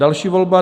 Další volba: